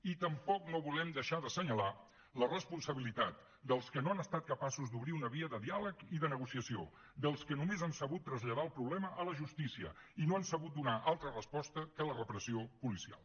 i tampoc no volem deixar d’assenyalar la responsabilitat dels que no han estat capaços d’obrir una via de diàleg i de negociació dels que només han sabut traslladar el problema a la justícia i no han sabut donar altra resposta que la repressió policial